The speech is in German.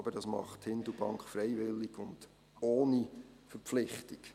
Aber dies macht Hindelbank freiwillig und ohne Verpflichtung.